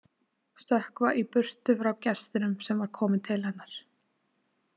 Stökkva í burtu frá gestinum sem var kominn til hennar.